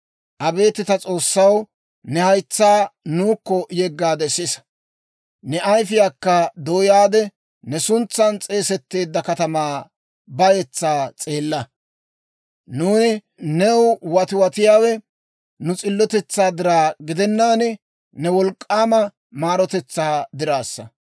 Abeet ta S'oossaw, ne haytsaa nuukko yeggaade sisa; ne ayifiyaakka dooyaade, ne suntsan s'eesetteedda katamaa bayetsaa s'eella. Nuuni new watiwatiyaawe, nu s'illotetsaa diraw gidennaan, ne wolk'k'aama maarotetsaa dirassa.